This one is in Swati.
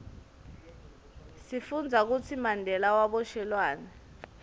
sifundza kutsi mandela waboshelwani